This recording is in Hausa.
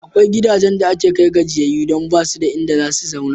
Akwai gidajen da ake kai gajiyayyu don ba su da inda za su zauna.